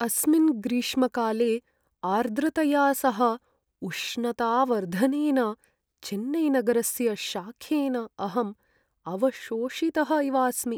अस्मिन् ग्रीष्मकाले आर्द्रतया सह उष्णतावर्धनेन चेन्नैनगरस्य शाखेन अहं अवशोषितः इवास्मि।